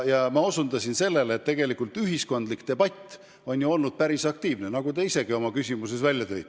Ma osutasin sellele, et tegelikult ühiskondlik debatt on olnud ju päris aktiivne, nagu te ise ka oma küsimuses välja tõite.